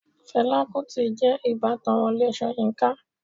Fẹlá Kútì jẹ́ ìbátan Wọlé Ṣóyínká.